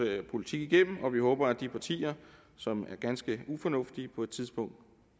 politik igennem og vi håber at de partier som er ganske ufornuftige på et tidspunkt